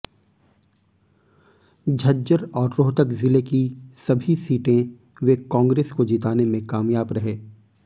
झज्जर और रोहतक जिले की सभी सीटें वे कांग्रेस को जिताने में कामयाब रहे